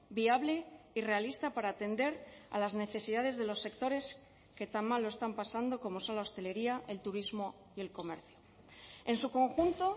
viable y realista para atender a las necesidades de los sectores que tan mal lo están pasando como son la hostelería el turismo y el comercio en su conjunto